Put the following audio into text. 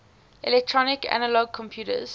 electronic analog computers